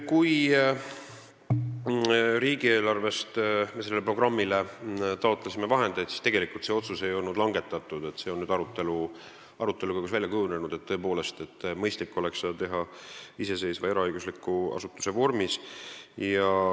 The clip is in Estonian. Kui me taotlesime riigieelarvest sellele programmile vahendeid, siis tegelikult ei olnud veel otsust langetatud, see on nüüd arutelu käigus välja kujunenud, et tõepoolest, mõistlik oleks seda teha iseseisva eraõigusliku asutuse vormis.